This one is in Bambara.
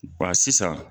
sisan